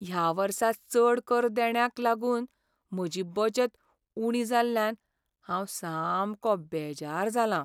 ह्या वर्सा चड कर देण्याक लागून म्हजी बचत उणी जाल्ल्यान हांव सामको बेजार जालां.